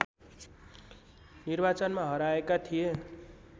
निर्वाचनमा हराएका थिए